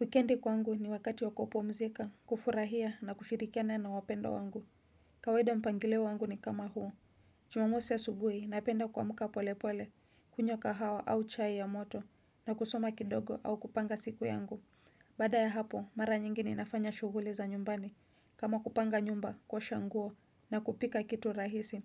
Wikendi kwangu ni wakati wa kupumzika, kufurahia na kushirikiana na wapendwa wangu. Kawaida mpangilio wangu ni kama huu Jumamosi asubuhi, napenda kuamka pole pole, kunywa kahawa au chai ya moto, na kusoma kidogo au kupanga siku yangu. Baada ya hapo, mara nyingi ninafanya shughuli za nyumbani. Kama kupanga nyumba, kuosha nguo, na kupika kitu rahisi.